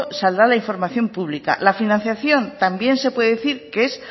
saldrá la información pública la financiación también se puede decir que es